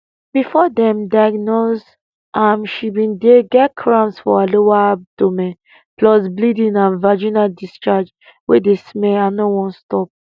before dem diagnose am she bin dey get cramps for her lower abdomen plus bleeding and vaginal discharge wey dey smell and no wan stop